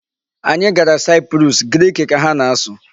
Anyị gara Cyprus, Grik ka ha na-asụ.